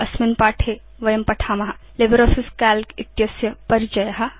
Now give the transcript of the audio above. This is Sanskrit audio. अस्मिन् पाठे वयं एतद्विषयकं पठेम लिब्रियोफिस काल्क इत्यस्य परिचय